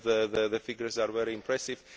The figures are very impressive.